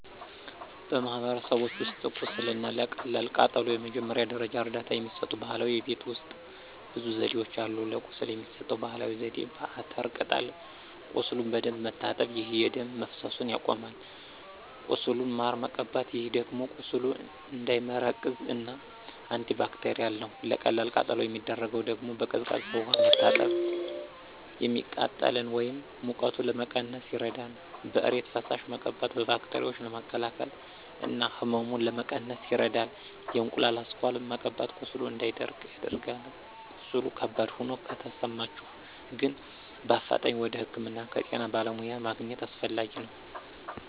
በማህበረሰቦች ውስጥ ቁስል እና ለቀላል ቃጠሎ የመጀመሪያ ደረጃ እርዳታ የሚሰጡ ባህላዊ የቤት ውሰጥ ብዙ ዘዴዎች አሉ። ለቁስል የሚሰጠው ባህላዊ ዜዴ፦ በአተር ቅጠል ቁሱሉን በደንብ መታጠብ፣ ይህ የደም መፈሰሱን ያስቆማል። ቁስሉን ማር መቀባት ይህ ደግሞ ቁስሉ እንዳይመረቅዝ እና አንቲባክቴርል ነው። ለቀላል ቃጠሎ የሚደረገው ደግሞ፦ በቀዝቃዛ ውሃ መታጠብ፤ የሚቃጥለን ወይም ሙቀቱን ለመቀነስ ይረዳል። በእሬት ፈሳሽ መቀባት ባክቴራዎችን ለመከላከል እና ህመሙን ለመቀነስ ይረዳል። የእንቁላሉ አስኳል መቀባት ቁስሉ እንዳይደርቅ ያደርጋል። ቀስሉ ከባድ ሆኖ ከተሰማቸሁ ግን በአፋጣኝ ወደ ህክምና የጤና በለሙያ ማግኝት አሰፈላጊ ነው።